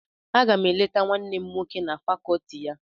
Aga m eleta nwanne m nwoke na fàkọọtị ya.